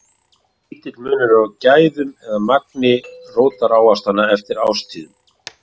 Lítill munur er á gæðum eða magni rótarávaxtanna eftir árstíðum.